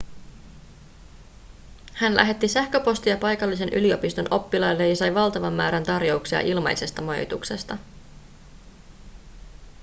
hän lähetti sähköpostia paikallisen yliopiston oppilaille ja sai valtavan määrän tarjouksia ilmaisesta majoituksesta